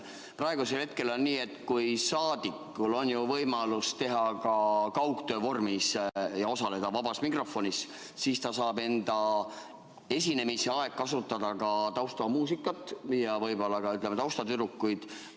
Praegu on nii, et saadikul on ju võimalus ka kaugtöö vormis osaleda vabas mikrofonis ja siis ta saab enda esinemise ajal kasutada taustamuusikat ja võib-olla ka taustatüdrukuid.